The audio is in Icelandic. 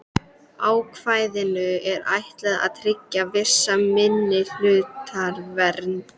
Ákvæðinu er ætlað að tryggja vissa minnihlutavernd.